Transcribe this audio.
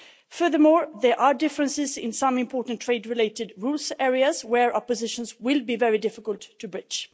Furthermore, there are differences in some important trade related rule areas where opposition will be very difficult to bridge.